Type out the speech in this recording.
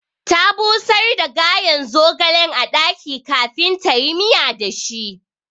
Ta busar da gayen zogalen a ɗaki kafin tayi miya da shi